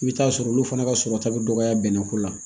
I bɛ t'a sɔrɔ olu fana ka sɔrɔta bɛ dɔgɔya bɛnnɛko la